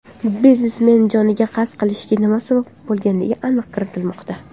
Biznesmen joniga qasd qilishiga nima sabab bo‘lganiga aniqlik kiritilmoqda.